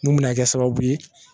Mun bɛna kɛ sababu ye